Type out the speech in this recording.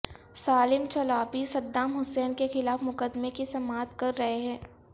Salem Chalabi Saddam Hussein کے خلاف مقدمے کی سماعت کر رہے ہیں